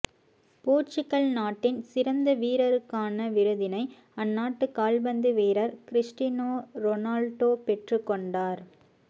Portugal நாட்டின் சிறந்த வீரருக்கான விருதினை அந்நாட்டு கால்பந்து வீரர் கிறிஸ்டினோ ரொனால்டோ பெற்றுக் கொண்டார்